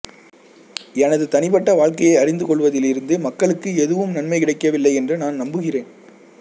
எனது தனிப்பட்ட வாழ்க்கையை அறிந்து கொள்வதிலிருந்து மக்களுக்கு எதுவும் நன்மை கிடைக்கவில்லை என்று நான் நம்புகிறேன்